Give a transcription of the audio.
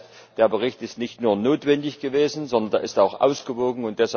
Das heißt, der Bericht ist nicht nur notwendig gewesen, sondern er ist auch ausgewogen.